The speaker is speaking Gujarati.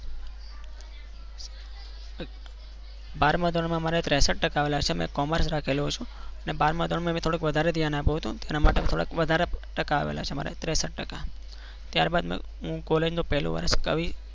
બારમા ધોરણમાં મારે ત્રેસત ટકા આવેલા છે મેં કોમર્સ રાખેલું અને મેં બાર મા ધોરણમાં થોડુંક વધારે ધ્યાન આપ્યું હતું એના માટે થોડાક વધારે ટકા આવેલા છે. મારે ત્રેસત ટકા ત્યારબાદ મેં હું કોલેજ નું પહેલું વર્ષ કરી